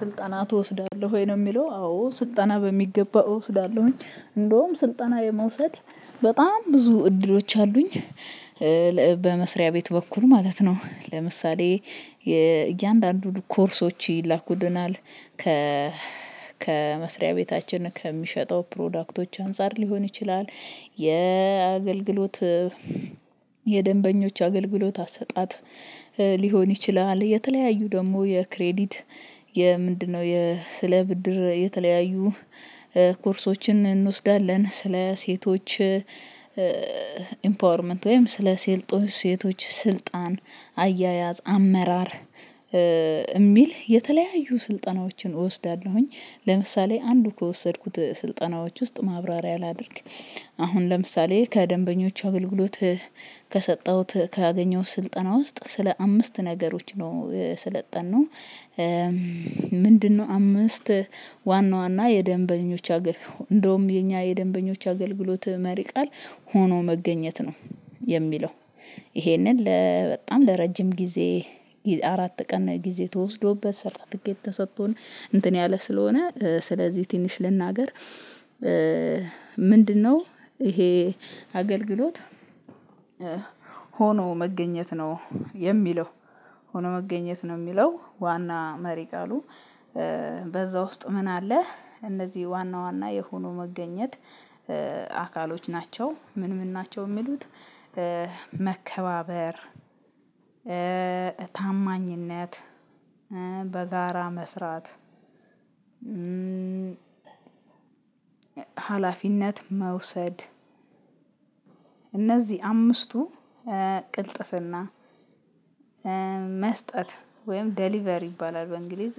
ስልጣና ትወስዳለህ ወይ? ነው የሚለው አዎ ስልጣና በሚገባ እወስዳለሁኝ እንደውም ስልጠና የመውሰድ በጣም ብዙ እድሎች አሉኝ። በመስሪያ ቤት በኩል ማለት ነው። ለምሳሌ እያንዳንዱን ኮርሶች ይላኩልናል። ከመስሪያ ቤታችን ከሚሸጠው ፕሮዳክቶች አንፃር ሊሆን ይችላል። የአገልግሎት የደንበኞች አገልግሎት አሰጣጥ ሊሆን ይችላል። የተለያዩ ደግሞ የክሬዲት የምንድነው ስለ ብድር የተለያዩ ኮርሶችን እንወስዳለን። ስለ ሴቶች ኢምፓወርመንት ወይም ስለ ሴቶች ስልጣን አያያዝ አመራር የሚል የተለያዩ ስልጠናዎችን እወስዳለሁኝ። ለምሳሌ አንዱ ከወሰድኩት ስልጠናዎች ውስጥ ማብራሪያ ላድርግ። አሁን ለምሳሌ ከደንበኞቹ አገልግሎት ከሰጠሁት ካገኘሁት ስልጠና ውስጥ ስለ አምስት ነገሮች ነው የሰለጠነው። ምንድነው? አምስት ዋና ዋና የደንበኞች እንዶም የኛ የደንበኞች አገልግሎት መሪ ቃል ሆኖ መገኘት ነው። የሚለው። ይሄንን በጣም ለረጅም ጊዜ አራት ቀን ጊዜ ተወስዶበት ሰርተፊኬት ተሰጥቶን እንትን ያለ ስለሆነ ስለዚህ ትንሽ ልናገር። ምንድነው? ይሄ አገልግሎት ሆኖ መገኘት ነው የሚለው ሆኖ መገኘት ነው የሚለው ዋና መሪ ቃሉ። በዛ ውስጥ ምን አለ? እነዚህ ዋና ዋና የሆኖ መገኘት አካሎች ናቸው። ምን ምን ናቸው የሚሉት? መከባበር ታማኝነት በጋራ መስራት። ሀላፊነት መውሰድ። እነዚህ አምስቱ ቅልጥፍና መስጠት ወይም ዴሊቨር ይባላል። በእንግሊዝ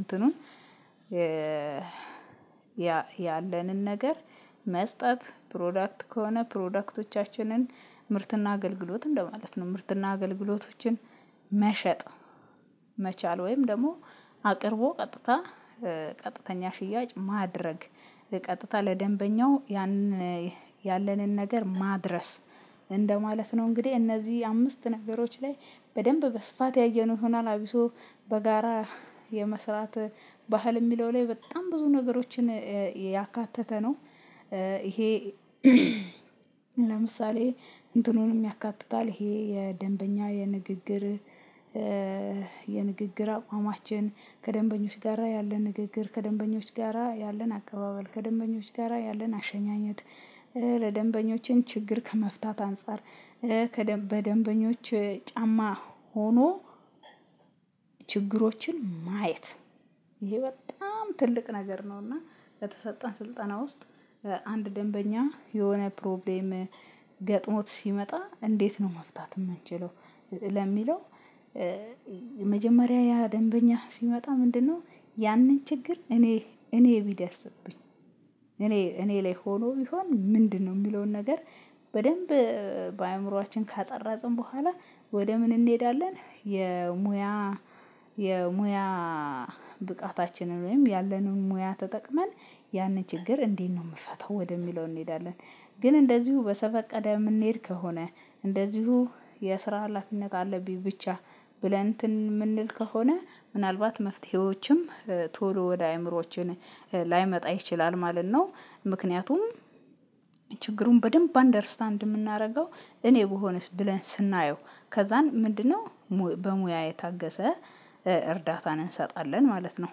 እንትኑ ያለንን ነገር መስጠት ፕሮዳክት ከሆነ ፕሮዳክቶቻችንን ምርትና አገልግሎት እንደማለት ነው። ምርትና አገልግሎቶችን መሸጥ መቻል ወይም ደግሞ አቅርቦ ቀጥታ ቀጥተኛ ሽያጭ ማድረግ ቀጥታ ለደንበኛው ያንን ያለንን ነገር ማድረስ እንደማለት ነው። እንግዲህ እነዚህ አምስት ነገሮች ላይ በደንብ በስፋት ያየነው ይሆናል። አብሶ በጋራ የመስራት ባህል የሚለው ላይ በጣም ብዙ ነገሮችን ያካተተ ነው። ይሄ ለምሳሌ እንትኑንም ያካትታል። ይሄ የደንበኛ የንግግር የንግግር አቋማችን ከደንበኞች ጋራ ያለን ንግግር ከደንበኞች ጋራ ያለን አቀባበል ከደንበኞች ጋራ ያለን አሸኛኘት ለደንበኞችም ችግር ከመፍታት አንፃር። በደንበኞች ጫማ ሆኖ። ችግሮችን ማየት ይሄ በጣም ትልቅ ነገር ነውና። በተሰጠን ስልጠና ውስጥ አንድ ደንበኛ የሆነ ፕሮብሌም ገጥሞት ሲመጣ እንዴት ነው መፍታት የምንችለው። ለሚለው መጀመሪያ ያ ደንበኛ ሲመጣ ምንድነው? ያንን ችግር እኔ እኔ ቢደርስብኝ እኔ እኔ ላይ ሆኖ ቢሆን ምንድነው የሚለውን ነገር። በደንብ በአእምሮአችን ካፀረጽን በኋላ ወደ ምን እንሄዳለን የሙያ የሙያ ብቃታችንን ወይም ያለንን ሙያ ተጠቅመን ያንን ችግር እንዴት ነው የምፈታው ወደሚለው እንሄዳለን። ግን እንደዚሁ በዘፈቀደ የምንሄድ ከሆነ እንደዚሁ የስራ ሀላፊነት አለብኝ ብቻ ብለን እንትን የምንል ከሆነ ምናልባት መፍትሄዎችም ቶሎ ወደ አእምሮዋችን ላይመጣ ይችላል ማለት ነው። ምክንያቱም ችግሩን በደንብ አንደርስታንድ የምናደርገው እኔ ብሆንስ ብለን ስናየው ከዛን ምንድነው በሙያ የታገሰ እርዳታን እንሰጣለን ማለት ነው።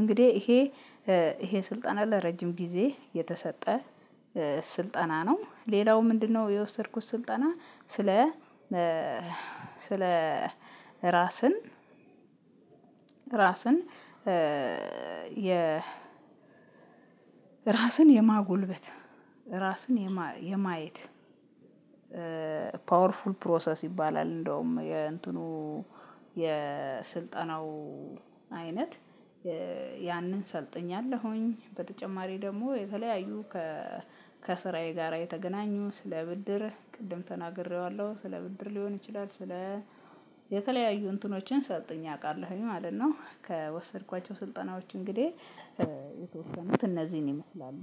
እንግዲህ ይሄ ይሄ ስልጠና ለረጅም ጊዜ የተሰጠ ስልጠና ነው። ሌላው ምንድነው? የወሰድኩት ስልጠና ስለ ስለ ራስን ራስን የ ራስን የማጎልበት ራስን የማየት ፓወርፉል ፕሮሰስ ይባላል። እንደውም የእንትኑ የስልጠናው አይነት ያንን ሰልጥኛለሁኝ በተጨማሪ ደግሞ የተለያዩ ከስራዬ ጋራ የተገናኙ ስለ ብድር ቅድም ተናግሬዋለሁ ስለ ብድር ሊሆን ይችላል ስለ የተለያዩ እንትኖችን ሰልጥኜ አውቃለሁኝ ማለት ነው። ከወሰድኳቸው ስልጠናዎች እንግዲህ የተወሰኑት እነዚህን ይመስላሉ።